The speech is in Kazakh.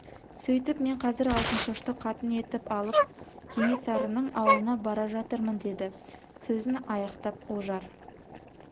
сөйтіп мен қазір алтыншашты қатын етіп алып кенесарының ауылына бара жатырмын деді сөзін аяқтап ожар